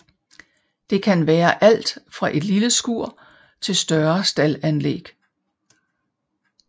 Det kan være alt fra et lille skur til større staldanlæg